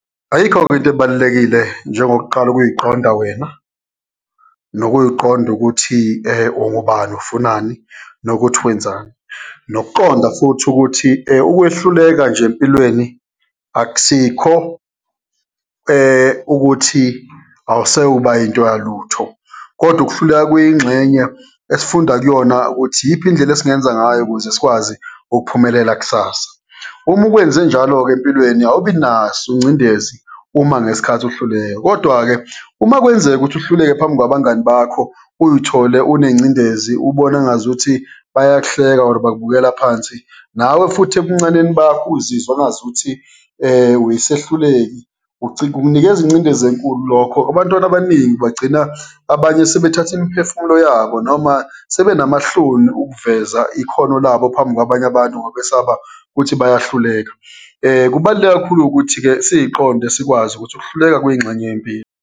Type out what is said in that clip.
Ayikho-ke into ebalulekile njengokuqala ukuyiqonda wena, nokuyiqonda ukuthi ungubani, ufunani nokuthi wenzani, nokuqonda futhi ukuthi ukwehluleka nje empilweni akusikho ukuthi awuse kuba yinto yalutho. Kodwa ukuhluleka kuyingxenye esifunda kuyona ukuthi iyiphi indlela esingenza ngayo ukuze sikwazi ukuphumelela kusasa. Uma ukwenze njalo-ke empilweni awubi ingcindezi uma ngesikhathi uhluleka. Kodwa-ke, uma kwenzeka ukuthi uhluleke phambi kwabangani bakho, uyithole unengcindezi, ubone engazuthi bayahleka, or bakubukela phansi, nawe futhi ebuncaneni bakho uzizwe engazuthi uyisehluleki kukunikeza ingcindezi enkulu lokho. Abantwana abaningi bagcina abanye sebethathe imiphefumulo yabo, noma sebenamahloni ukuveza ikhono labo phambi kwabanye abantu, ngoba besaba ukuthi bayahluleka. Kubaluleke kakhulu ukuthi-ke siyiqonde sikwazi ukuthi ukuhluleka kuyingxenye yempilo.